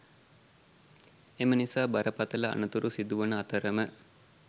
එම නිසා බරපතළ අනතුරු සිදුවන අතරම